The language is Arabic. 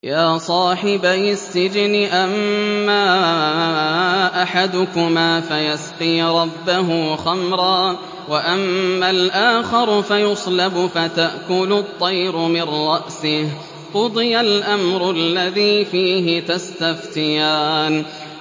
يَا صَاحِبَيِ السِّجْنِ أَمَّا أَحَدُكُمَا فَيَسْقِي رَبَّهُ خَمْرًا ۖ وَأَمَّا الْآخَرُ فَيُصْلَبُ فَتَأْكُلُ الطَّيْرُ مِن رَّأْسِهِ ۚ قُضِيَ الْأَمْرُ الَّذِي فِيهِ تَسْتَفْتِيَانِ